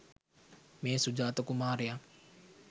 මේ සුජාත කුමාරයා